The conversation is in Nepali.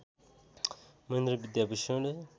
महेन्द्र विद्याभूषण